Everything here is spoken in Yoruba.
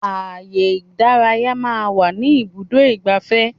Ààyè ìdárayá máa ń wà ní ibùdó igbàfẹ́.